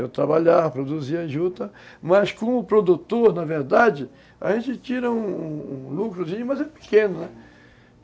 Eu trabalhava, produzia em juta, mas como o produtor, na verdade, a gente tira um lucrozinho, mas é pequeno, né?